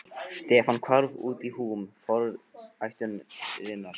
Stefán hvarf út í húm vornæturinnar.